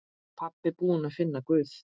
Pabbi búinn að finna Guð!